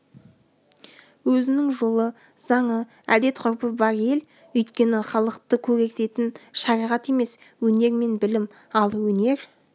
өзінің жолы заңы әдет-ғұрпы бар ел өйткені халықты көгертетін шариғат емес өнер мен білім ал өнер